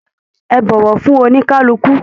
Ẹ bọwọ fún onikaluku!